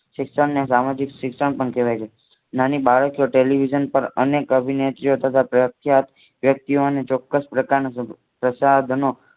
શિક્ષણ ને સામાજિક શિક્ષણ પણ કહેવાય છે. નાની બાળકીઓ ટેલિવિઝન પર અનેક અભિનેતીઓ તથા પ્રખ્યાત વ્યક્તિઓને ચોક્કસ પ્રકારના સંસાધનો